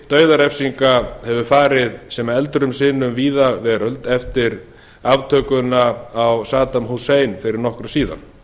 dauðarefsinga hefur farið sem eldur um sinu um víða veröld eftir aftökuna á saddam hussein fyrir nokkru síðan